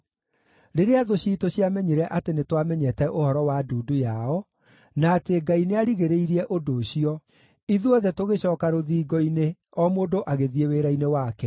Rĩrĩa thũ ciitũ ciamenyire atĩ nĩtwamenyete ũhoro wa ndundu yao, na atĩ Ngai nĩarigĩrĩirie ũndũ ũcio, ithuothe tũgĩcooka rũthingo-inĩ, o mũndũ agĩthiĩ wĩra-inĩ wake.